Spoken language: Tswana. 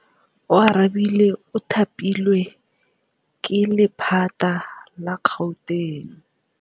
Oarabile o thapilwe ke lephata la Gauteng.